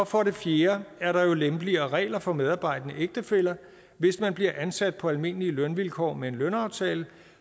for det fjerde er der jo lempeligere regler for medarbejdende ægtefæller hvis man bliver ansat på almindelige lønvilkår med en lønaftale